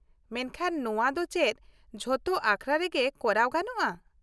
ᱢᱮᱱᱠᱷᱟᱱ ᱱᱚᱶᱟ ᱫᱚ ᱪᱮᱫ ᱡᱚᱛᱚ ᱟᱠᱷᱲᱟ ᱨᱮᱜᱮ ᱠᱚᱨᱟᱣ ᱜᱟᱱᱚᱜ -ᱟ ?